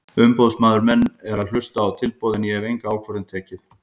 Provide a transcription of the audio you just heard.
Umboðsmaður minn er nú að hlusta á tilboð en ég hef enga ákvörðun tekið.